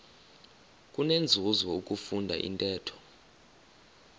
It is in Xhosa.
kunenzuzo ukufunda intetho